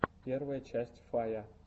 первая часть фая